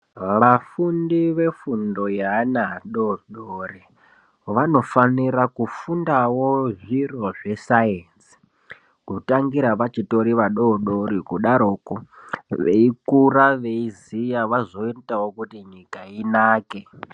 Vafundi vefundo yeana adodori vanofanira kufundawo zviro zvesainzi, kutangira vachitori vadodori kudaroko veikura veiziya vazoitawo kuti nyika inake.